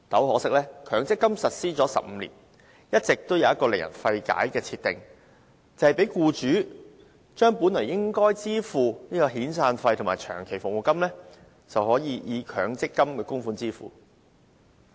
可惜強積金實施了15年，一直有一項令人費解的政策，讓僱主可將本應支付的遣散費及長期服務金，以強積金僱主供款對沖。